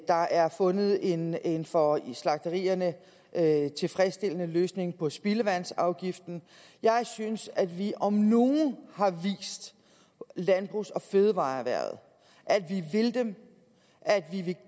der er fundet en en for slagterierne tilfredsstillende løsning på spildevandsafgiften jeg synes at vi om nogen har vist landbrugs og fødevareerhvervet at vi vil dem at vi